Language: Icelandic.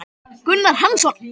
Gunnar Hansson